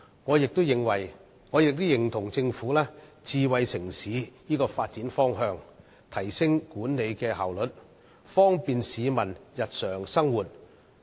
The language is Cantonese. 我也認同政府發展智慧城市的方向，以提升管理效率，方便市民日常生活。